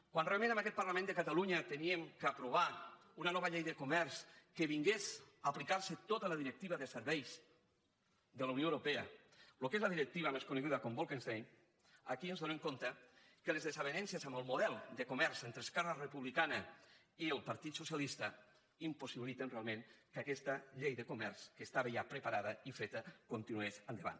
quan realment en aquest parlament de catalunya havíem d’aprovar una nova llei de comerç que vingués a aplicar se tota la directiva de serveis de la unió europea el que és la directiva més coneguda com a bolkestein aquí ens adonem que les desavinences amb el model de comerç entre esquerra republicana i el partit socialista impossibiliten realment que aquesta llei de comerç que estava ja preparada i feta continués endavant